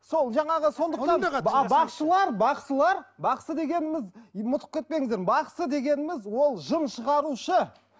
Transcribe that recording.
сол жаңағы сондықтан бақшылар бақсылар бақсы дегеніміз ұмытып кетпеңіздер бақсы дегеніміз ол жын шығарушы